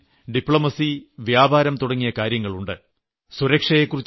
വിദേശ യാത്രകളിൽ നയതന്ത്രം വ്യാപാരം തുടങ്ങിയ കാര്യങ്ങളുണ്ട്